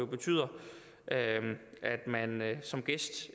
betyder at man som gæst